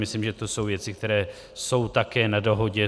Myslím, že to jsou věci, které jsou také na dohodě.